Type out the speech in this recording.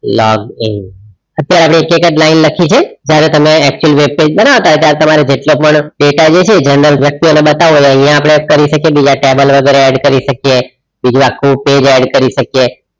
Log in અત્યારે આપણે એક જ line લખીસું અત્યારે તમે વાઈટ એટલે તમારે જેટલા પણ data જે છે general વ્યક્તિઓ ને બતાવો છે અહિયા આપડે કરી શકીયે બીજા table વગેરે add કરી શકીયે બીજું આખું page add કરી શકીયે